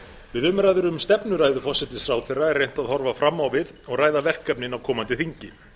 við umræður um stefnuræðu forsætisráðherra er rétt að horfa fram á við og ræða verkefnin á komandi þingi